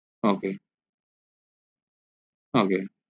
ok ok